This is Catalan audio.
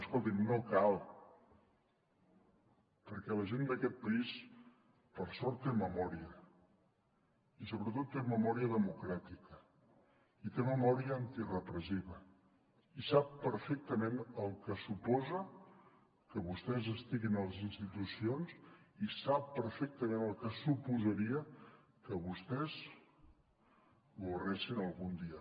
escolti’m no cal perquè la gent d’aquest país per sort té memòria i sobretot té memòria democràtica i té memòria antirepressiva i sap perfectament el que suposa que vostès estiguin a les institucions i sap perfectament el que suposaria que vostès governessin algun dia